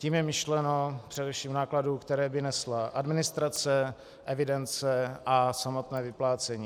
Tím je myšleno především nákladů, které by nesla administrace, evidence a samotné vyplácení.